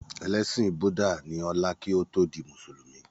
Ẹlẹ́sìn búdà ní ọlá kí ó tó di mùsùlùmí